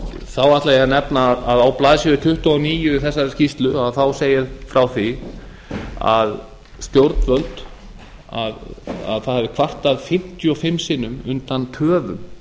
þá ætla ég að nefna að á blaðsíðu tuttugu og níu í þessari skýrslu segir aðra því að stjórnvöld hafi kvartað fimmtíu og fimm sinnum undan töfum